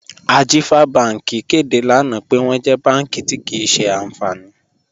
Ajífà Bànki kẹdé lánà pẹ̀ wọn jẹ́ bànki tí kíì ṣe ànfánì.